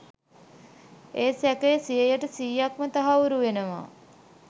ඒ සැකය සීයට සීයක්ම තහවුරු වෙනවා